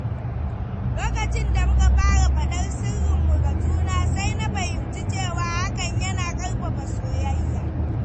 Lokacin da muka fara faɗar sirrinmu ga juna, sai na fahimci cewa hakan yana ƙarfafa soyayya.